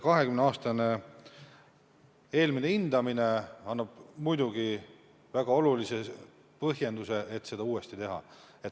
20 aasta tagune eelmine hindamine annab muidugi väga olulise põhjenduse, miks seda on vaja uuesti teha.